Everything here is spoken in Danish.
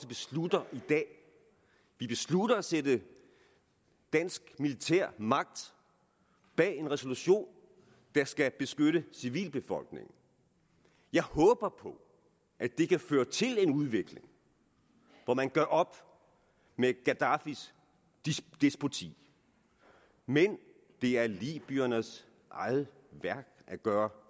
beslutter i dag vi beslutter at sætte dansk militærmagt bag en resolution der skal beskytte civilbefolkningen jeg håber på at det kan føre til en udvikling hvor man gør op med gaddafis despoti men det er libyernes eget værk at gøre